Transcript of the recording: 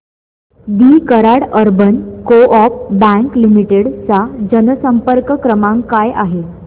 दि Karad urban co-op bank limited चा जनसंपर्क क्रमांक काय आहे